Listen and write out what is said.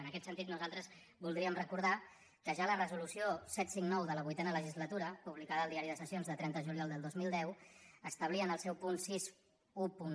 en aquest sentit nosaltres voldríem recordar que ja la resolució set cents i cinquanta nou de la vuitena legislatura publicada al diari de sessions del trenta de juliol del dos mil deu establia en el seu punt seixanta un